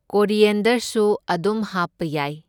ꯀꯣꯔꯤꯌꯦꯟꯗꯔꯁꯁꯨ ꯑꯗꯨꯝ ꯍꯥꯞꯄ ꯌꯥꯏ꯫